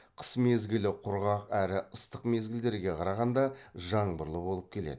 қыс мезгілі құрғақ әрі ыстық мезгілдерге қарағанда жаңбырлы болып келеді